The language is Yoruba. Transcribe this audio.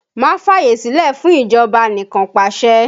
Má fàyè sílẹ̀ fún ìjọba anikanpasẹ̀!